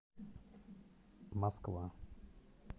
москва